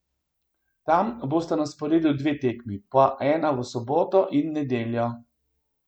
Tam bosta na sporedu dve tekmi, po ena v soboto in nedeljo.